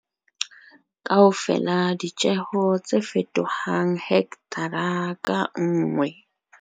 Kaofela ditjeho tse fetohang, hekthara ka nngwe